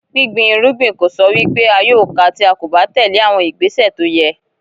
Gbíngbin irúgbìn kò sọ wí pé a yóò ka tí a kò bá tèlé àwọn ìgbésẹ̀ tó yẹ.